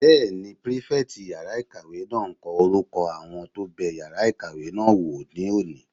Bẹ́ẹ̀ni, pírífẹ̀tì yàrá-ìkàwé náà n kọ orúkọ àwọn tó bẹ yàrá ìkàwé náà wò ní òní